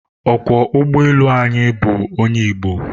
Ọkwọ ụgbọelu anyị bụ onye Igbo